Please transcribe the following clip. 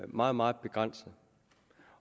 meget meget begrænset